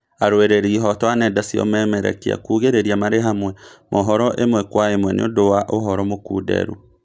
Arũĩrĩri ihooto a nenda cia ũmemerekia kuugĩrĩria marĩ hamwe mohoro ĩmwe Kwa ĩmwe nĩũndũ wa ũhoro mũkunderu